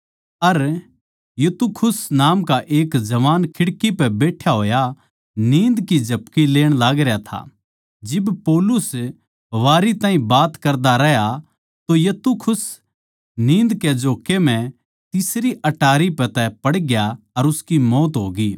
अर यूतुखुस नाम का एक जवान खिड़की पै बैठ्या होया नींद की झपकियाँ लेण लागरया था जिब पौलुस वारी ताहीं बात करदा रहया तो यूतुखुस नींद कै झोक्के म्ह तीसरी अटारी पै तै पड़ग्या अर उसकी मौत होगी